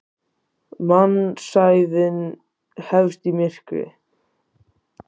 Mannsævin hefst í myrkri.